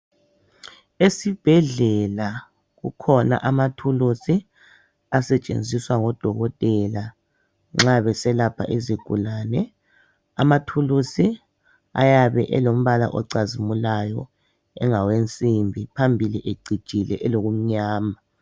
Esibhedlela kukhona amathulusi asetshenziswa ngodokotela nxa beselapha izigulane .Amathulusi ayabe elombala ocazimulayo engawensimbi phambi ecijile elokumnyama .